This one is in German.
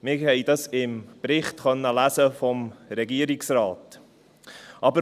Wir konnten dies im Bericht des Regierungsrates lesen.